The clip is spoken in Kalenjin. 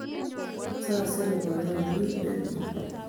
Saisere boinyot. Wiy nemyee